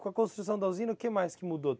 Com a construção da usina, o que mais que mudou?